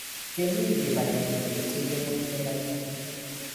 kemii kibagenge keteche ngwony ne gaiagai